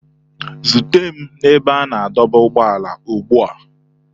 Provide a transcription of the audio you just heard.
Zute m na ebe a na-adọba ụgbọala ugbu a!